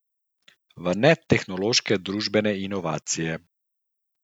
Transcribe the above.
V netehnološke družbene inovacije.